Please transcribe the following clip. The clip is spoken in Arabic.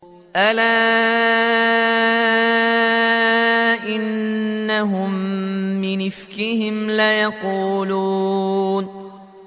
أَلَا إِنَّهُم مِّنْ إِفْكِهِمْ لَيَقُولُونَ